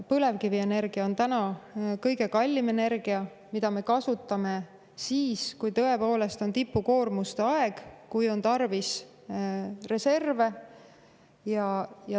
Põlevkivienergia on täna kõige kallim energia, mida me kasutame siis, kui tõepoolest on tipukoormuste aeg ja kui on tarvis reserve.